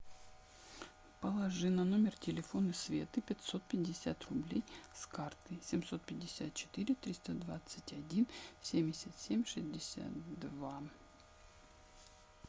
положи на номер телефона светы пятьсот пятьдесят рублей с карты семьсот пятьдесят четыре триста двадцать один семьдесят семь шестьдесят два